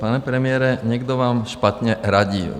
Pane premiére, někdo vám špatně radil.